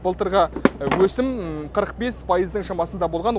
былтырғы өсім қырық бес пайыздың шамасында болған